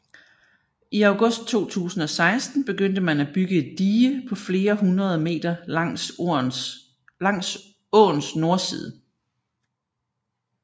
I august 2016 begyndte man at bygge et dige på flere hundrede meter langs åens nordside